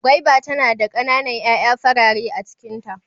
Gwaiba tana da kana nan ƴaƴa farare a cikin ta.